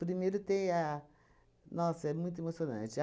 Primeiro tem a... Nossa, é muito emocionante.